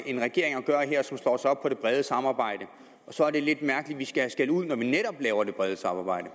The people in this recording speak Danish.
en regering at gøre her som slår sig op på det brede samarbejde og så er det lidt mærkeligt at vi skal have skældud når vi netop laver det brede samarbejde